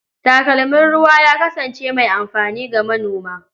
Takalmin ruwa ya kasance mai amfani ga manona.